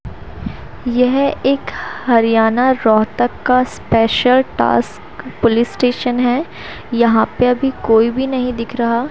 यह एक हरियाणा रोहतक का स्पेशल टास्क पुलिस स्टेशन है यहां पे अभी कोई भी नहीं दिख रहा--